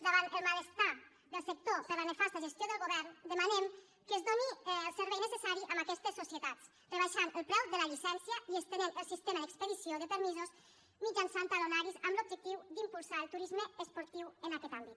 davant el malestar del sector per la nefas·ta gestió del govern demanem que es doni el servei necessari a aquestes societats rebaixant el preu de la llicència i estenent el sistema d’expedició de permisos mitjançant talonaris amb l’objectiu d’impulsar el tu·risme esportiu en aquest àmbit